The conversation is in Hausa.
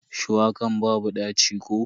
Shuwakan babu ɗaci ko?